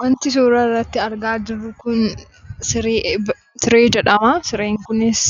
Wanti suuraa irratti argaa jirru kun siree jedhama. Sireen kunis